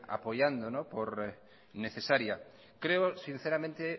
apoyando por necesaria creo sinceramente